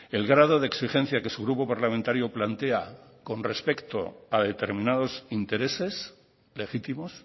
el grado de exigencia que su grupo parlamentario plantea con respecto a determinados intereses legítimos